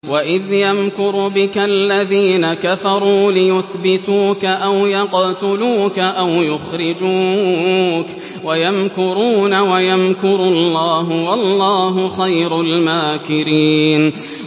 وَإِذْ يَمْكُرُ بِكَ الَّذِينَ كَفَرُوا لِيُثْبِتُوكَ أَوْ يَقْتُلُوكَ أَوْ يُخْرِجُوكَ ۚ وَيَمْكُرُونَ وَيَمْكُرُ اللَّهُ ۖ وَاللَّهُ خَيْرُ الْمَاكِرِينَ